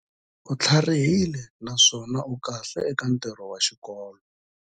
U tlharihile naswona u kahle eka ntirho wa xikolo.